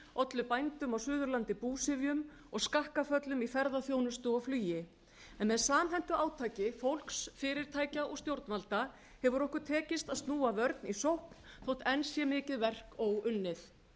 ollu bændum á suðurlandi búsifjum og skakkaföllum í ferðaþjónustu og flugi með samhentu átaki fólks fyrirtækja og stjórnvalda hefur okkur tekist að snúa vörn í sókn þótt enn sé mikið verk óunnið það er